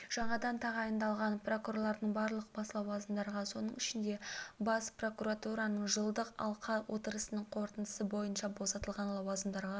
жаңадан тағайындалған прокурорлардың барлығы бос лауазымдарға соның ішінде бас прокуратураның жылдық алқа отырысының қорытындысы бойынша босатылған лауазымдарға